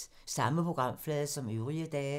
Samme programflade som øvrige dage